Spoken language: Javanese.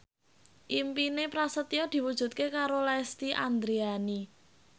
impine Prasetyo diwujudke karo Lesti Andryani